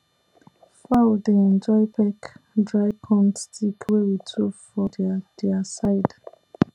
fowl dey enjoy peck dry corn stick wey we throw for their their side